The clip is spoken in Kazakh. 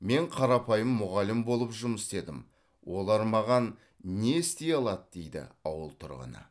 мен қарапайым мұғалім болып жұмыс істедім олар маған не істей алады дейді ауыл тұрғыны